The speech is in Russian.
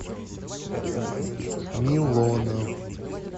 милонов